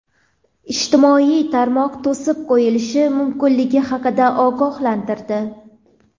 ijtimoiy tarmoq to‘sib qo‘yilishi mumkinligi haqida ogohlantirdi.